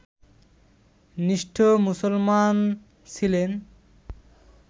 নিষ্ঠ মুসলমান ছিলেন